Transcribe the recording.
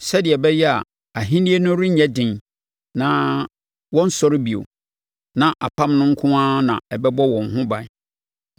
sɛdeɛ ɛbɛyɛ a ahennie no renyɛ den na wɔrensɔre bio, na apam no nko ara na ɛbɛbɔ wɔn ho ban.